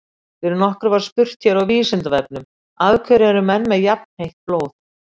Fyrir nokkru var spurt hér á Vísindavefnum Af hverju eru menn með jafnheitt blóð?